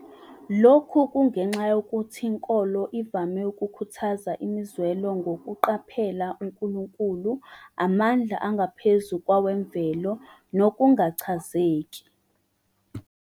Lokhu kungenxa yokuthi inkolo ivame ukukhuthaza imizwelo ngokuqaphela unkulunkulu, amandla angaphezu kwawemvelo, nokungachazeki.